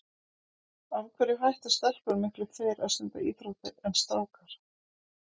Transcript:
Af hverju hætta stelpur miklu fyrr að stunda íþróttir en strákar?